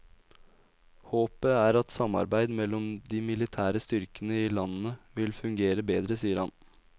Håpet er at samarbeid mellom de militære styrkene i landene vil fungere bedre, sier han.